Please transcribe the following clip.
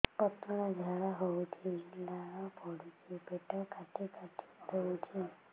ପତଳା ଝାଡା ହଉଛି ଲାଳ ପଡୁଛି ପେଟ କାଟି କାଟି ଦଉଚି